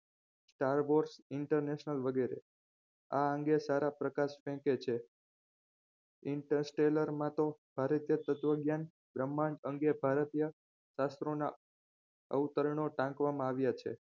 Starboss international વગેરે આ અંગે સારા પ્રકાશ ફેંકે છે interstella માં તો ભારતીય તત્વજ્ઞાન બ્રહ્માંડ અંગે ભારતીય શાસ્ત્રોના અવતરણો ટાંકવામાં આવ્યા છે